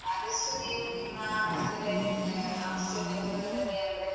ಆದಷ್ಟು ನೀವ್ ನಿಮ್ಮ hostel life ಆ hostel ನ ಜೀವನದಲ್ಲಿ ಅಂದ್ರೆ.